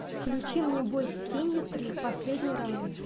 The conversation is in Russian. включи мне бой с тенью три последний раунд